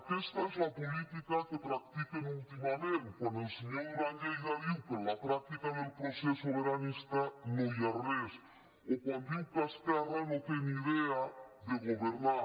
aquesta és la política que practiquen últimament quan el senyor duran i lleida diu que a la pràctica del procés sobiranista no hi ha res o quan diu que esquerra no té ni idea de governar